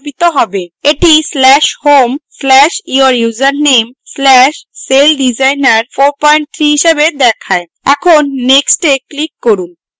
এটি/home/<your username>/celldesigner43 হিসাবে দেখায় এখন next এ click করুন